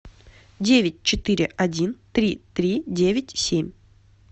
девять четыре один три три девять семь